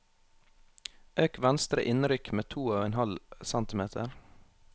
Øk venstre innrykk med to og en halv centimeter